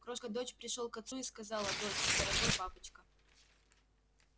крошка дочь пришёл к отцу и сказала доча дорогой папочка